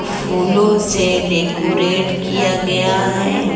फूलों से डेकोरेट किया गया है।